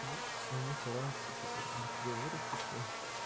ну они стараются типа быстрее вырасти что ли